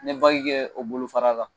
N bɛ kɛ o bolofara la